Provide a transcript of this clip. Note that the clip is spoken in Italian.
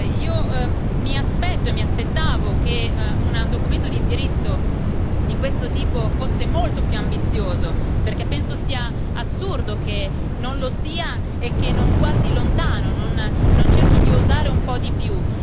Io mi aspetto e mi aspettavo che un documento di indirizzo di questo tipo fosse molto più ambizioso, perché penso sia assurdo che non lo sia e che non guardi lontano, che non cerchi di osare un po' di più.